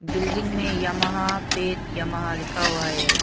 Building में Yamaha पेट Yamaha लिखा हुआ है।